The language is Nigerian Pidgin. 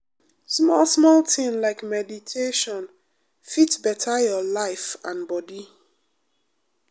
small-small thing like meditation fit better your life and body.